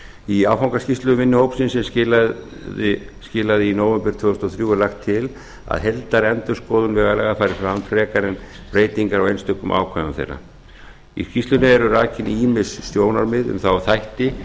í áfangaskýrslu vinnuhópsins sem skilaði í nóvember tvö þúsund og þrjú er lagt til að heildarendurskoðun vegalaga fari fram frekar en breytingar á einstökum ákvæðum þeirra í skýrslunni eru rakin ýmis sjónarmið um þá þætti sem taka